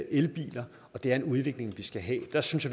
elbiler og det er den udvikling vi skal have der synes